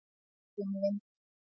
Um vinda.